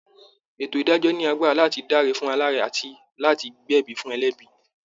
Ètò ìdájọ́ ní agbára láti dáre fún aláre àti láti gbé ẹ̀bi fún ẹlẹ́bi